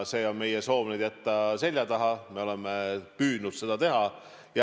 Nüüd on meie soov jätta need seljataha ja me oleme püüdnud seda teha.